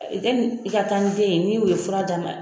yɛnni i ka taa ni den ye ni o ye fura d'a ma.